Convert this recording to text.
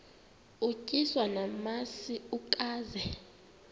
utyiswa namasi ukaze